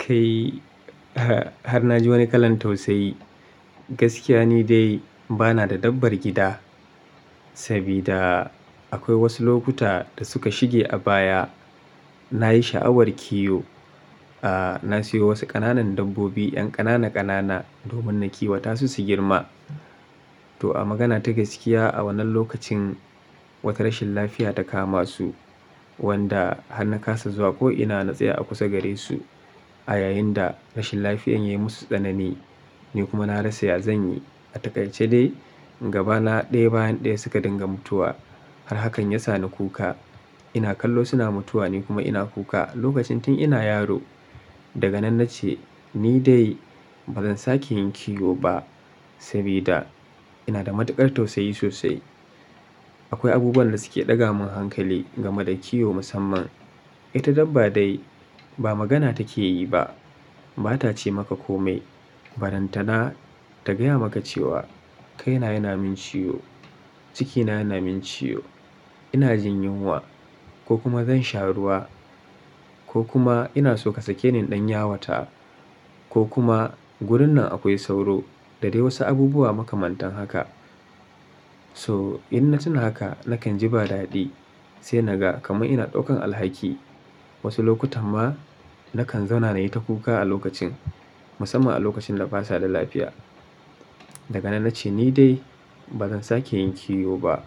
Kai, har na ji wani kalan tausayi. Gaskiya ni dai ba na da dabbar gida, sabida akwai wasu lokuta da suka shige a baya. Na yi sha'awar kiwo. Aaa, na sayo wasu ƙananan dabbobi, 'yan ƙanana ƙanana domin na kiwata su su girma. To a magana ta gaskiya a wannan lokacin wata rashin lafiya ta kama su, wanda har na kasa zuwa ko ina na tsaye a kusa gare su. A yayin da rashin lafiyar ya yi musu tsanani, ni kuma na rasa ya zan yi. A takaice dai gaba na ɗaya bayan ɗaya suka dinga mutuwa. Har hakan ya sa ni kuka. Ina kallo suna mutuwa ni kuma ina kuka. Lokacin tin ina yaro. Daga nan na ce, ni dai ba zan sake yin kiwo ba, sabida ina da matuƙar tausayi sosai. Akwai abubuwan da suke ɗaga min hankali game da kiwo musamman. Ita dabba dai ba magana take yi ba. Ba ta ce maka komai. Baranta na ta gaya maka cewa kaina yana min ciwo, cikina yana min ciwo, ina jin yunwa ko kuma zan sha ruwa ko kuma ina so ka sake ni in ɗan yawata ko kuma gurin nan akwai sauro da dai wasu abubuwa makamantan haka. To inna tuna haka, nakan ji ba dadi sai naga kamar ina ɗaukan alhaki. Wasu lokutan ma nakan zauna na yi ta kuka a lokacin, musamman a lokacin da ba sa da lafiya. Daga nan na ce ni dai ba zan sake yin kiwo ba.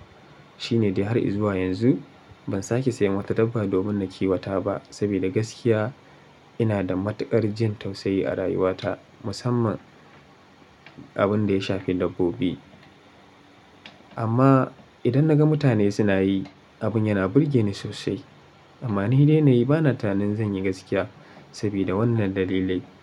Shine de har izuwa yanzu ban sake sayan wata dabba domin na kiwata ba, sabida gaskiya ina da matuƙar jin tausayi a rayuwata musamman abun da ya shafi dabbobi. Amma idan naga mutane suna yi, abin yana burge ni sosai. Amma ni dai ne ba na tunanin zan yi gaskiya sabida wannan dalilai.